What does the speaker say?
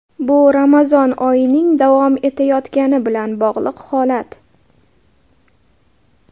Bu Ramazon oyining davom etayotgani bilan bog‘liq holat.